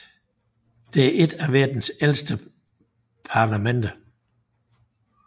Det er et af verdens ældste parlamenter